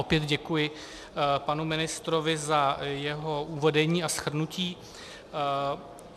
Opět děkuji panu ministrovi za jeho uvedení a shrnutí.